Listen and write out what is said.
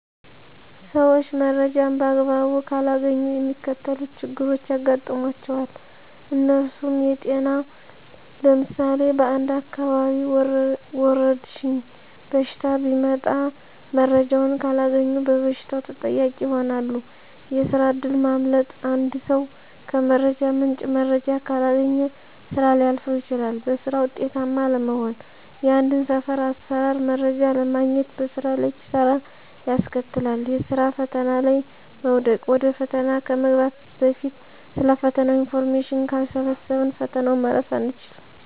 ሰዊች መረጃን በአግባቡ ካላገኙ የሚከተሉት ችግሮች ያጋጥሟቸዋል። እነርሱም -የጤና ለምሳሌ በአንድ አካባቢ ወረድሽኝ በሽታ ቢመጣ መረጃውን ካላገኙ በበሽታው ተጠቂ ይሆናሉ፤ የስራ እድል ማምለጥ -አንድ ሰው ከመረጃ ምንጭ መረጃ ካላገኘ ስራ ሊያልፈው ይችላል፤ በስራ ውጤታማ አለመሆን -የአንድን ስር አሰራር መረጃ አለማግኘት በስራ ላይ ኪሳራን ያስከትላል፤ የስራ ፈተና ላይ መውደቅ -ወደ ፈተና ከመግባት በፊት ስለ ፈተናው ኢንፎርሜሽን ካልሰበሰብን ፈተናውን ማለፍ አይቻልም።